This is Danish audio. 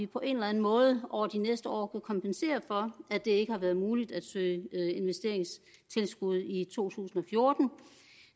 på en eller enden måde over de næste år kunne kompensere for at det ikke har været muligt at søge investeringstilskud i to tusind og fjorten